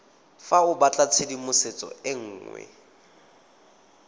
fa o batlatshedimosetso e nngwe